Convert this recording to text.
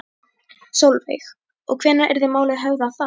Sólveig: Og hvenær yrði málið höfðað þá?